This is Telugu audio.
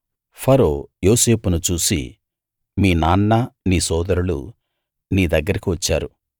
ఫరో యోసేపును చూసి మీ నాన్న నీ సోదరులు నీ దగ్గరికి వచ్చారు